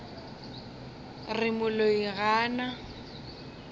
re moloi ga a na